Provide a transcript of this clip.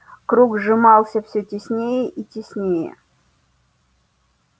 круг сжимался всё теснее и теснее